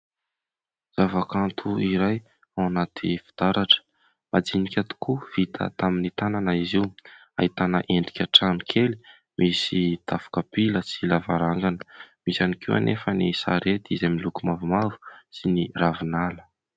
Zava-kanto iray ao anaty fitaratra, madinika tokoa vita tamin'ny tanana izy io, ahitana endrika trano kely misy tafo kapila sy lavarangana. Misy ihany koa anefa ny sarety izay miloko mavomavo sy ny ravinala.